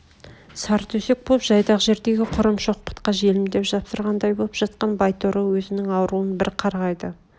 сартөсек боп жайдақ жердегі құрым шоқпытқа желмдеп жапсырғандай боп жатқан байторы өзнің ауруын бір қарғайды